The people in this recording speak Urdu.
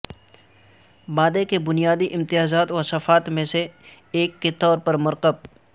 مادے کا بنیادی امتیازات وصفات میں سے ایک کے طور پر مرکب